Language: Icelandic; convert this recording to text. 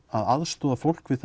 aðstoði fólk við